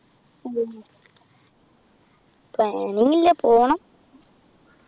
ഉം planning ഇല്ല പോണം